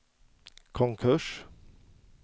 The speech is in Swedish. konkurs